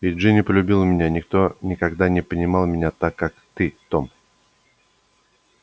и джинни полюбила меня никто никогда не понимал меня так как ты том